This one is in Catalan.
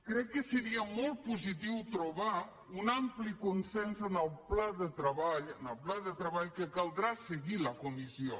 crec que seria molt positiu trobar un ampli consens en el pla de treball en el pla de treball que caldrà que segueixi la comissió